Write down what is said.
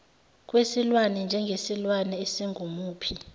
kwesilwane njengesilwane esingumuphi